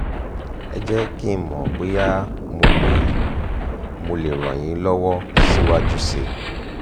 ẹ jẹ́ kí n mọ̀ bóyá mo lè mo lè ràn yín lọ́wọ́ síwájú sí i